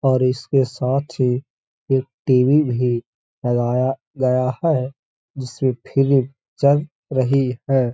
और इसके साथ ही एक टीवी भी लगाया गया है जिसमे फिलीम चल रही है।